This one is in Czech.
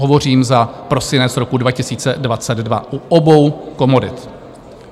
Hovořím za prosinec roku 2022 u obou komodit.